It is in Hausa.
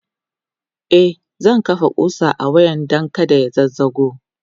e zan kafa ƙusa a wayan Dan kada ya zazzago